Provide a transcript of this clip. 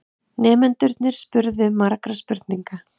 Nemendurnir spurðu margra spurninga.